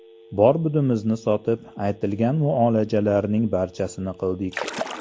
Bor-budimizni sotib, aytilgan muolajalarning barchasini qildik.